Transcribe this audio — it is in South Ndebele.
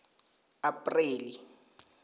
apreli